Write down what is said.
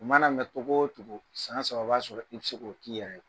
U mana mɛn cogo o cogo , san saba , o b'a sɔrɔ i bɛ se k'o k'i yɛrɛ ye.